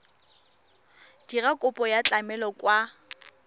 dira kopo ya tlamelo kwa